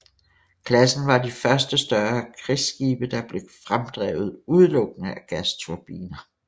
Klassen var de første større krigsskibe der blev fremdrevet udelukkende af gasturbiner